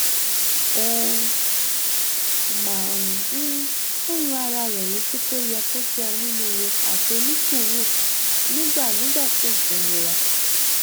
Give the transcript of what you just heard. ó máa um ń rán ara rẹ létí pé ó yẹ kó jẹ onínúure àti onísùúrù nígbà nígbà tí nǹkan nira